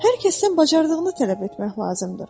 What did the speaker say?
Hər kəsdən bacardığını tələb etmək lazımdır.